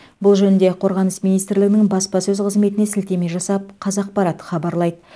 бұл жөнінде қорғаныс министрлігінің баспасөз қызметіне сілтеме жасап қазақпарат хабарлайды